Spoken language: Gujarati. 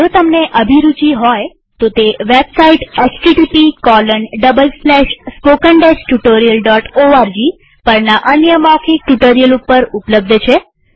જો તમને અભિરુચિ હોય તોતે વેબસાઈટ httpspoken tutorialorg પરના અન્ય મૌખિક ટ્યુ્ટોરીઅલ ઉપર ઉપલબ્ધ છે